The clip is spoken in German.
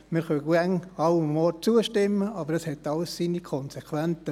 Wir können immer an allen Orten zustimmen, aber es hat alles seine Konsequenzen.